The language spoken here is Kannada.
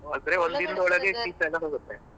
ಆದ್ರೆ ಶೀತ ಎಲ್ಲ ಹೋಗುತ್ತೆ.